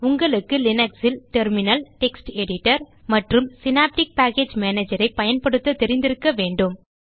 உங்களுக்கு லினக்ஸ் ல் terminal text editor மற்றும் சினாப்டிக் பேக்கேஜ் மேனேஜர் ஐ பயன்படுத்த தெரிந்திருக்க வேண்டும்